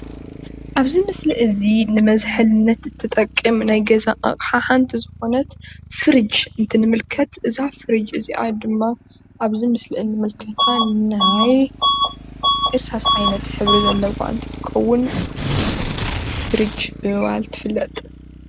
ኣብዚ ምስሊ እዚ ንመዝሓልነት ትጠቅም ናይ ገዛ ኣቅሓ ሓንቲ ዝኮነት ፍርጅ እንትንምልከት እዛ ፍርጅ እዚኣ ድማ ኣብዚ ምስል እንምልከታ ናይ እርሳስ ዓይነት ሕብሪ ዘለዋ እንትትከውን ፍርጅ ብምባል ትፍለጥ፡፡